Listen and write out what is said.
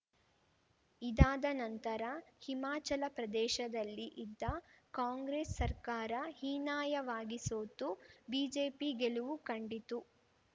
ಇದಾದ ನಂತರ ಹಿಮಾಚಲಪ್ರದೇಶದಲ್ಲಿ ಇದ್ದ ಕಾಂಗ್ರೆಸ್‌ ಸರ್ಕಾರ ಹೀನಾಯವಾಗಿ ಸೋತು ಬಿಜೆಪಿ ಗೆಲುವು ಕಂಡಿತು